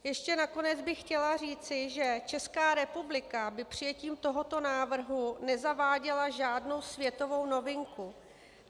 Ještě nakonec bych chtěla říci, že Česká republika by přijetím tohoto návrhu nezaváděla žádnou světovou novinku.